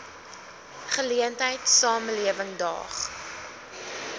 geleentheid samelewing daag